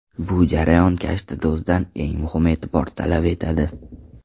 Bu jarayon kashtado‘zdan eng muhim e’tibor talab etadi.